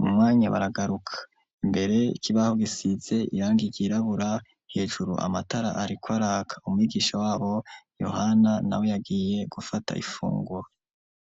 mu mwanya baragaruka imbere ikibaho gisize irangi ryirabura hejuru amatara ariko araka umwigisha wabo Yohana, nawe yagiye gufata ifunguro.